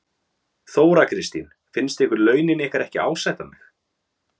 Þóra Kristín: Finnst ykkur launin ykkar ekki ásættanleg?